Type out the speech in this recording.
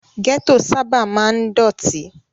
Gẹ́tò sábà máa ń dọ̀tí.